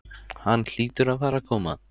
Hann hlýtur að fara að koma.